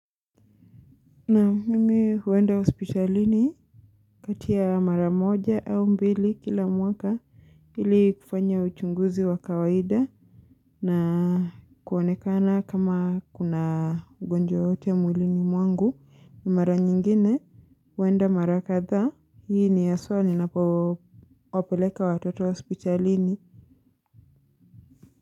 Na mimi huenda hospitalini kati ya mara moja au mbili kila mwaka Hili kufanya uchunguzi wa kawaida na kuonekana kama kuna ugonjwa hote mwilini mwangu ni mara nyingine huenda mara kadhaa, hii ni aswa ni napowapeleka watoto hospitalini.